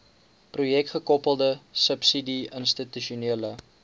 projekgekoppelde subsidie institusionele